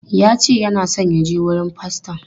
Ya ce yana so ya je wurin faston.